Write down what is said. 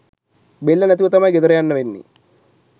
බෙල්ල නැතිව තමයි ගෙදර යන්න වෙන්නෙ